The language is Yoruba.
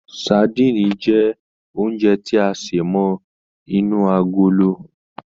Sadíìnì jẹ́ oúnjẹ tí a sé mọ́ inú agolo